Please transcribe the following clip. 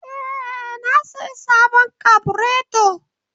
Ee, na sayi sabon kabureto